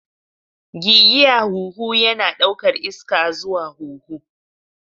Gigiya huhu yana ɗaukar iska zuwa huhu.